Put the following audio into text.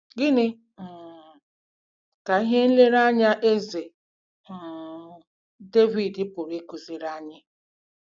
Gịnị um ka ihe nlereanya Eze um Devid pụrụ ịkụziri anyị?